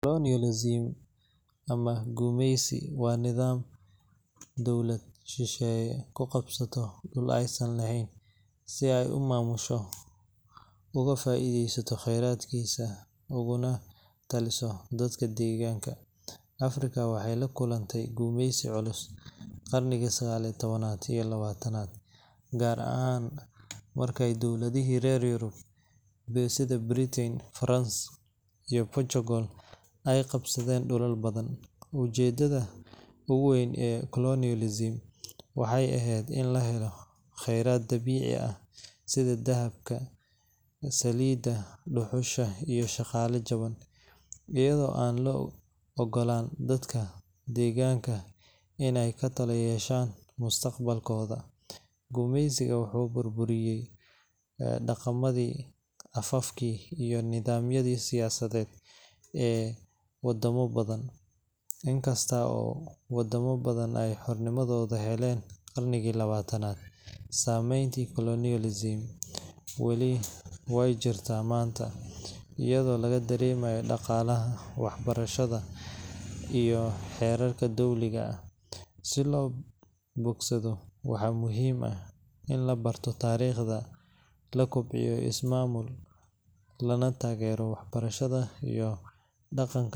colonialism ama gumeysi waa nidaam dowlada shisheeye ku qabsato dul aay san leheen si aay umamusho ugu faidesato kheradkiisa, uguna taliso dadka daganka, Africa waxeey la kulante gumeysi culus qarnigi sagaal iyo tabanaad iyo labaatanaad, gaar ahaan marka aay diwladaha reer Europe sida Britain, France iyo Portugal aay qabsadeen dulal fara badan, ujedada ugu weyn ee colonialism waxeey eheed in lahelo kheyraad dabiici ah sida dahabka saliida, duxusha iyo daqala jaban ayado aan loo ogolaan dadka deeganka in aay katala gashaan mustaqbalkooda, gumeysi wuxuu burburiye daqamadii, afafki iyo nidamyadii siyasadeed ee wadama badan in kasto oo wadamo badan aay xornimadooda heleen qarnigii labaatanaad, sameynti colonialism waay jirta weli maanta ayado laga dareemayo daqaalaha, wax barashada iyo xeerarka dowliga ah, si loo bogsado waxaa muhiim ah in la barto taariqda, la kobciyo mamuul lana tageero wax barashada iyo daqanka.